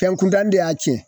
Fɛn kuntan de y'a tiɲɛ